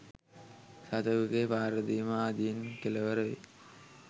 සතෙකුගේ පහරදීම ආදියෙන් කෙළවර වෙයි.